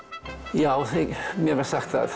já mér var sagt það